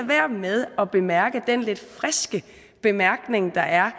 være med at bemærke den lidt friske bemærkning der er